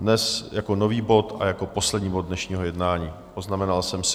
Dnes jako nový bod a jako poslední bod dnešního jednání, poznamenal jsem si.